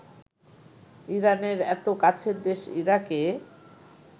ইরানের এত কাছের দেশ ইরাকে